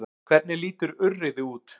Hvernig lítur urriði út?